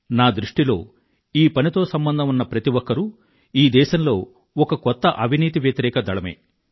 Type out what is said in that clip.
నా దృష్టిలో ఈ పనితో సంబంధం ఉన్న ప్రతి ఒక్కరూ ఈ దేశంలో ఒక కొత్త అవినీతి వ్యతిరేక దళమే